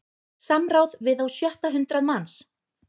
Samráð við á sjötta hundrað manns